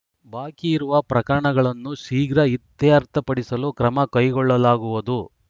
ಬಾಕಿ ಇರುವ ಪ್ರಕರಣಗಳನ್ನು ಶೀಘ್ರ ಇತ್ಯರ್ಥಪಡಿಸಲು ಕ್ರಮ ಕೈಗೊಳ್ಳಲಾಗುವುದು